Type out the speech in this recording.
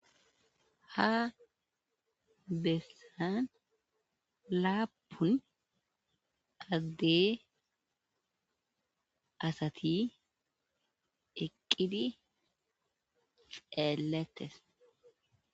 Ha bessaan laapun adde asati eqqidi xeelettes.